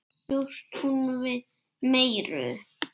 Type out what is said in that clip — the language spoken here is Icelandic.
Samt bjóst hún við meiru.